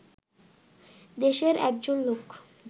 দেশের একজন লোক